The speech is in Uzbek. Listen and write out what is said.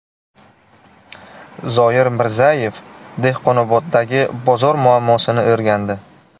Zoir Mirzayev Dehqonoboddagi bozor muammosini o‘rgandi.